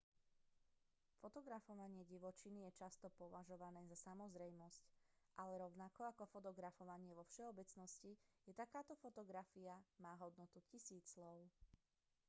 fotografovanie divočiny je často považované za samozrejmosť ale rovnako ako fotografovanie vo všeobecnosti aj takáto fotografia má hodnotu tisícich slov